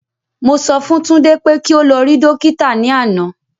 Mo sọ fún Tunde pé kí o lọ rí Dókítà ní àná